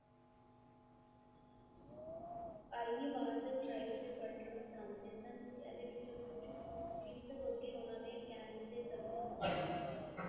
ion ਬਾਅਦ ਕਰਦੇ ਸਨ ਏਦੇ ਵਿੱਚੋ ਕੁੱਜ ਉਨ੍ਹਾਂ ਨੇ ਕਹਿਣ ਸੰਤਤਲਣ